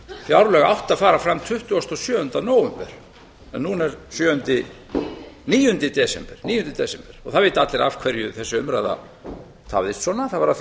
fjárlög átti að fara fram tuttugasta og sjöunda nóvember en núna er sjöunda níunda desember og það vita allir af hverju þessi umræða tafðist svona það var af því að